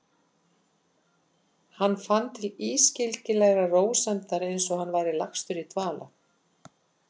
Hann fann til ískyggilegrar rósemdar, einsog hann væri lagstur í dvala.